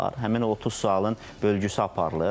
Həmin o 30 sualın bölgüsü aparılır.